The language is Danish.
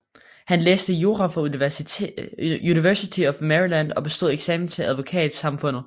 Han læste jura på University of Maryland og bestod eksamen til advokatsamfundet